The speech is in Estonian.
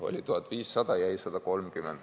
Oli 1500, jäi 130.